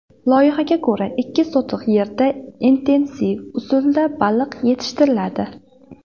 Loyihaga ko‘ra, ikki sotix yerda intensiv usulda baliq yetishtiriladi.